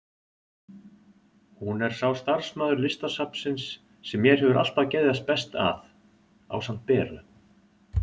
Hún er sá starfsmaður Listasafnsins sem mér hefur alltaf geðjast best að, ásamt Beru.